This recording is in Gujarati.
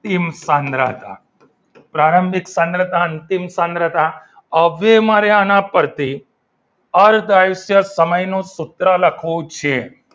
અંતિમ સાંદ્રતા પ્રારંભિક સાંદ્રતા અંતિમ સાંદ્રતા હવે મારે આ પરથી અર્ધ આયુષ્ય સમય નો સૂત્ર લખવું છે.